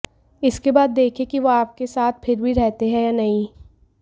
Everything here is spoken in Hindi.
इसके बाद देखें कि वो आपके साथ फिर भी रहते हैं या नहीं